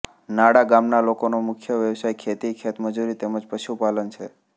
નાડા ગામના લોકોનો મુખ્ય વ્યવસાય ખેતી ખેતમજૂરી તેમ જ પશુપાલન છે